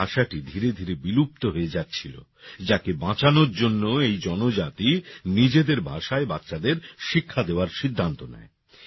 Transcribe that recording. এই ভাষাটি ধীরে ধীরে বিলুপ্ত হয়ে যাচ্ছিল যাকে বাঁচানোর জন্য এই জনজাতি নিজেদের ভাষায় বাচ্চাদের শিক্ষা দেওয়ার সিদ্ধান্ত নেয়